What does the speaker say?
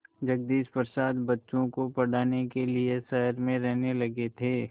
जगदीश प्रसाद बच्चों को पढ़ाने के लिए शहर में रहने लगे थे